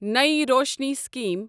نٔیی روشنی سِکیٖم